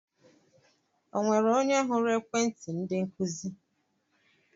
Onwere onye huru ekwenti ndi nkuzi?